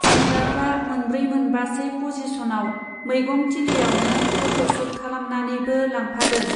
सेंग्राफ्रा मोनब्रै मोनबासे पजिस'नाव मैगं थिलियावनो पट' सुट खालामनानैबो लांफादों।